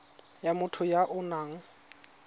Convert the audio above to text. ya motho ya o nang